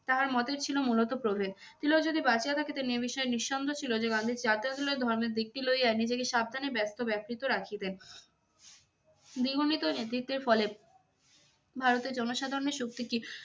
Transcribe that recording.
তাহার মতের ছিল মূলত প্রভেদ। তিলক যদি বাঁচিয়া থাকিতেন এ বিষয়ে নিঃসন্দ ছিল যে ধর্মের দিকটি লইয়া নিজেকে সাবধানে ব্যস্ত ব্যপ্তীত রাখিতেন। দ্বি-খণ্ডিত নেতৃত্বের ফলে ভারতের জনসাধারণের শক্তি কী